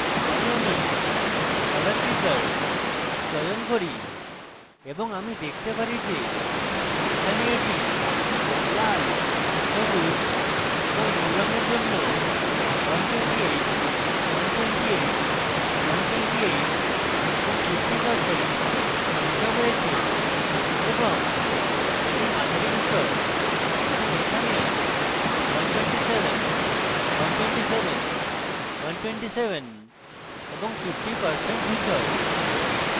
তাই আমি colour picker চয়ন করি এবং আমি দেখতে পারি যে এখানে এটি লাল সবুজ এবং নীল রঙের জন্য 128128128 এবং 50% ধুসর রয়েছে এবং এটি মাঝারি ধূসর এবং এখানে 127127127 ও 50% ধূসর